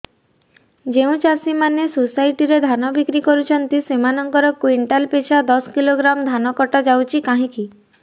ଯେଉଁ ଚାଷୀ ମାନେ ସୋସାଇଟି ରେ ଧାନ ବିକ୍ରି କରୁଛନ୍ତି ସେମାନଙ୍କର କୁଇଣ୍ଟାଲ ପିଛା ଦଶ କିଲୋଗ୍ରାମ ଧାନ କଟା ଯାଉଛି କାହିଁକି